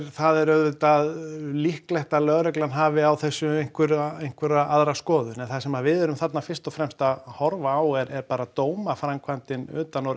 það er auðvitað líklegt að lögreglan hafi á þessu einhverja einhverja aðra skoðun en það sem við erum þarna fyrst og fremst að horfa á er bara dómaframkvæmdin utan úr